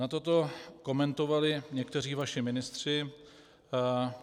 Nato to komentovali někteří vaši ministři.